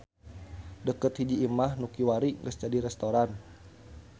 Deukeut hiji imah nu kiwari geus jadi restoran.